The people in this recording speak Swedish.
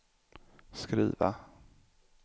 skriva